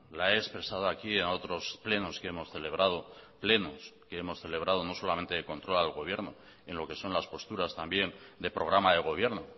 la he expresado aquí en otros plenos que hemos celebrado plenos que hemos celebrado no solamente de control al gobierno en lo que son las posturas también de programa de gobierno